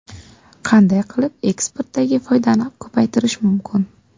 Qanday qilib eksportdagi foydani ko‘paytirish mumkin?